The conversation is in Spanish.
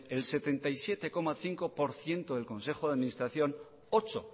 el setenta y siete coma cinco por ciento del consejo de administración ocho